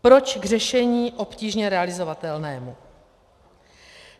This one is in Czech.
Proč k řešení obtížně realizovatelnému?